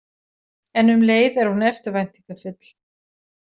En um leið er hún eftirvæntingafull.